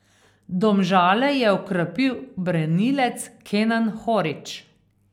Domžale je okrepil branilec Kenan Horić.